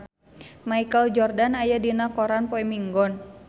Michael Jordan aya dina koran poe Minggon